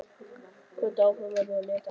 Hvött áfram af mömmu leita ég Arndísar.